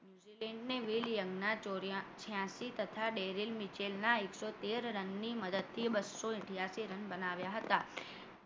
Shri Will Young ના ચોર્યાશી છયાસી તથા ડેરિંગ મિચેલ ના એક સો તેર રનની મદદથી બસો અથીયાસી રન બનાવ્યા હતા